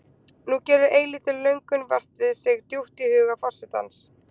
Nú gerir eilítil löngun vart við sig djúpt í huga forsetans.